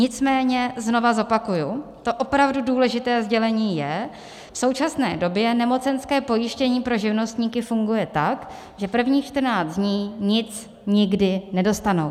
Nicméně znovu zopakuji: To opravdu důležité sdělení je, v současné době nemocenské pojištění pro živnostníky funguje tak, že prvních 14 dní nic nikdy nedostanou.